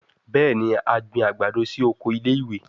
Bẹẹni, a gbin agbado si oko ile-iwe